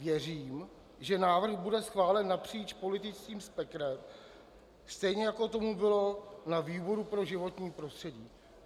Věřím, že návrh bude schválen napříč politickým spektrem, stejně jako tomu bylo na výboru pro životní prostředí.